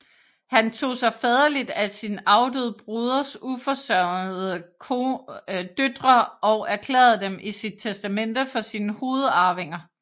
Han tog sig faderligt af sin afdøde broders uforsørgede døtre og erklærede dem i sit testamente for sine hovedarvinger